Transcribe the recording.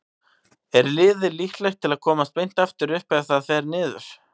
Er liðið líklegt til að komast beint aftur upp ef það fer niður?